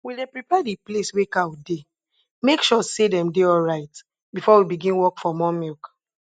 we dey prepare de place wey cow dey make sure say dem dey alright before we begin work for more milk